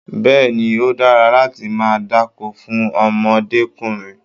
Bẹ́ẹ̀ni, ó dára láti máa dákó fún ọmọdékùnrin.